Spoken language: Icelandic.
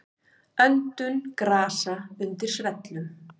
Öndun grasa undir svellum.